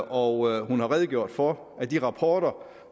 og hun har redegjort for at de rapporter